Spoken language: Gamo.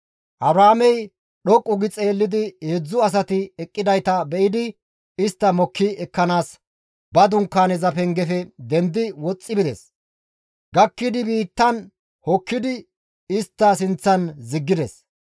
Abrahaamey dhoqqu gi xeellidi heedzdzu asati eqqidayta be7idi istta mokki ekkanaas ba Dunkaaneza pengefe dendidi woxxi bides; he gakki biittan hokkidi istta sinththan ziggides.